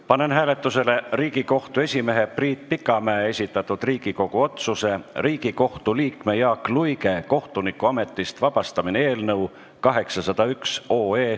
Panen hääletusele Riigikohtu esimehe Priit Pikamäe esitatud Riigikogu otsuse "Riigikohtu liikme Jaak Luige kohtunikuametist vabastamine" eelnõu 801.